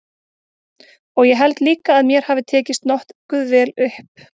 Og ég held líka að mér hafi tekist nokkuð vel upp.